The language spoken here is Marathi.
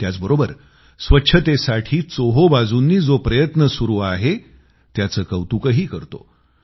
त्याचबरोबर स्वच्छतेसाठी चोहोबाजूंनी जो प्रयत्न सुरू आहे त्याचं कौतुकही करतो